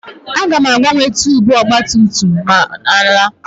Aga m agbanwe tuubu ọgba tum tum ma m na-ala